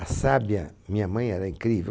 A sábia, minha mãe era incrível.